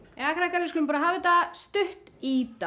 jæja krakkar við skulum bara hafa þetta stutt í dag